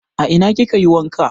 A ina ki kayi wanka?